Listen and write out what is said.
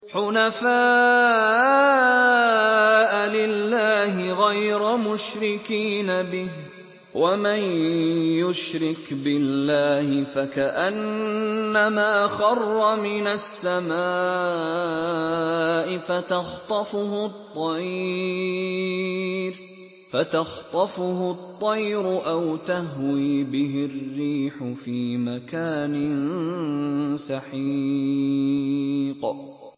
حُنَفَاءَ لِلَّهِ غَيْرَ مُشْرِكِينَ بِهِ ۚ وَمَن يُشْرِكْ بِاللَّهِ فَكَأَنَّمَا خَرَّ مِنَ السَّمَاءِ فَتَخْطَفُهُ الطَّيْرُ أَوْ تَهْوِي بِهِ الرِّيحُ فِي مَكَانٍ سَحِيقٍ